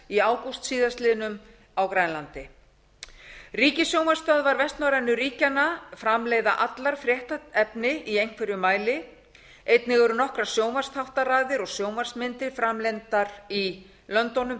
í ágúst síðastliðinn á grænlandi ríkissjónvarpsstöðvar vestnorrænu ríkjanna framleiða allar fréttaefni í einhverjum mæli einnig eru nokkrar sjónvarpsþáttaraðir og sjónvarpsmyndir framlengdar í löndunum